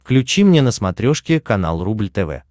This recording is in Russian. включи мне на смотрешке канал рубль тв